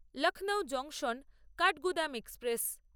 Lucknow junction Kathgodam express